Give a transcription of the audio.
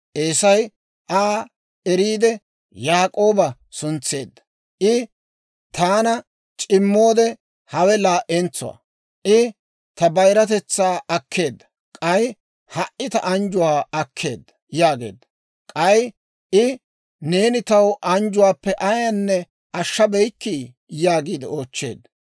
Eesay, «Aa eriide Yaak'ooba suntseedda; I taana c'immoode, hawe laa"entsuwaa; I ta bayiratetsaa akkeedda; k'ay ha"i ta anjjuwaa akkeedda» yaageedda. K'ay I, «Neeni taw anjjuwaappe ayaanne ashshabeykkii?» yaagiide oochcheedda.